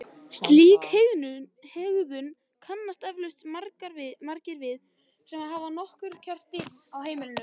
Slíka hegðun kannast eflaust margir við sem hafa haft nokkra ketti í einu á heimilinu.